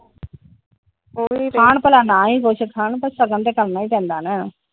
ਖਾਣ ਭਲਾ ਨਾ ਏ ਕੁੱਜ ਸ਼ਗੁਨ ਤੇ ਕਰਨਾ ਈ ਪੈਂਦਾ ਆ ।